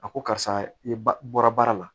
A ko karisa i ba bɔra baara la